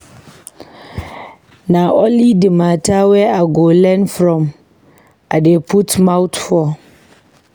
Na only di mata wey I go learn from I dey put mouth for.